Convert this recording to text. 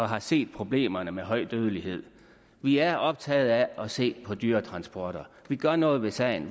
har set problemerne med høj dødelighed vi er optaget af at se på dyretransporter vi gør noget ved sagen